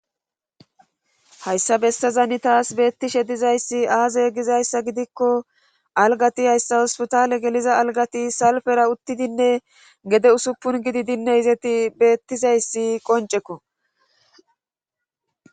Hayssa bessazan tas beettishe dizayssi aaze gizayssa gidikko alggati Hosppitaale geliza alggati salpera uttidinne gede usuppun gididinne beettizayssi qoncceko